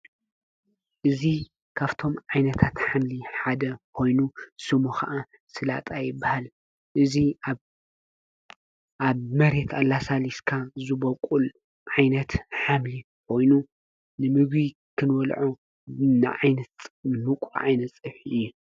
እዙ ካፍቶም ዓይነታት ሓምሊ ሓደ ኾይኑ ስሙ ኸዓ ስላጣይበሃል እዙ ኣብ መሬት ኣላሳሊስካ ዝበቊል ዓይነት ኃምል ወይኑ ንሚግቢ ኽንወልዑ ዓይነት ምቑር ዓይነት ጽብሒ እየ።